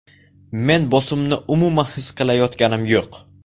Men bosimni umuman his qilayotganim yo‘q.